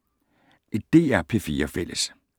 DR P4 Fælles